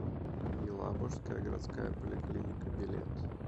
елабужская городская поликлиника билет